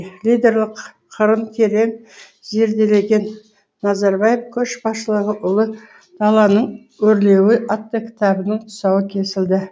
лидерлік қырын терең зерделеген назарбаев көшбасшылығы ұлы даланың өрлеуі атты кітабының тұсауы кесілді